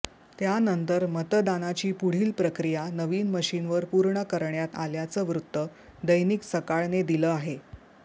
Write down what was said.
त्यानंतर मतदानाची पुढील प्रक्रिया नवीन मशिनवर पूर्ण करण्यात आल्याचं वृत्त दैनिक सकाळ ने दिलं आहे